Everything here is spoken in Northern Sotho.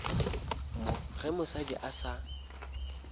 mo ge mosadi a sa